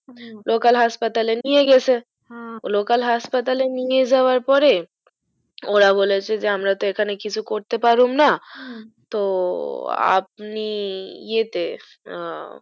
হুম local হাসপাতালে নিয়ে গেছে হ্যা local হাসপাতালে নিয়ে যাওয়ার পরে ওরা বলেছে যে আমরা তো এখানে কিছু করতে পারুমনা হুম তো আপনি এতে আ